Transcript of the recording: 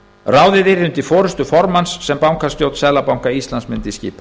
ráðið yrði undir forustu formanns sem bankastjórn seðlabanka íslands mundi skipa